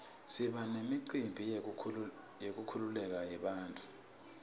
siba nemicimbi yenkululeko yebantfu